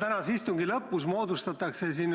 Tänase istungi lõpus moodustatakse siin